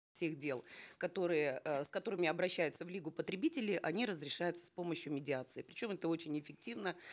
тех дел которые э с которыми обращаются в лигу потребителей они разрешаются с помощью медиации причем это очень эффективно